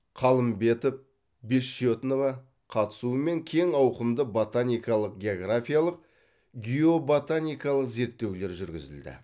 қалымбетов бессчетнова қатысуымен кең ауқымды ботаникалық географиялық геоботаникалық зерттеулер жүргізілді